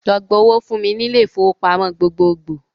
Lọ gba owó fún mi ní ilé-ifowópamọ gbogbogbò!